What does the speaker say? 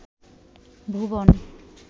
ভুবন